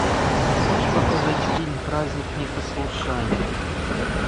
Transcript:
можешь показать фильм праздник непослушания